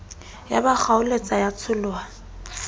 ya ba kgaoletsa ya tsholoha